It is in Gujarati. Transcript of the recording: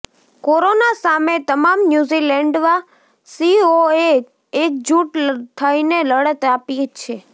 કોરોના સામે તમામ ન્યૂઝીલેન્ડવાસીઓએ એકજૂટ થઈને લડત આપી છે